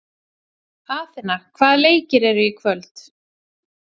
Atena, hvaða leikir eru í kvöld?